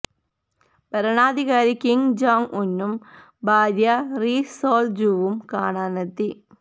ഭരണാധികാരി Kim Jong ഉന്നും ഭാര്യ റി സോള് ജുവും കാണാനെത്തി